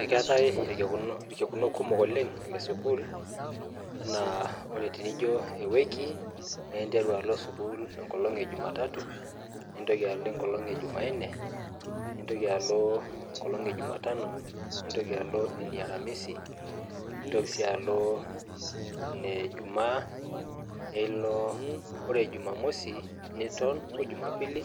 Ekwetae irkekuno kumok lesukul na ore pijo ewiki na interu alo sukul enkolong ejumatatu nintoki alo enkolong e jumainee nntoki alo enkolong earamisi nintoki alo enkolong ejumaa ore jumamosi niton o jumapili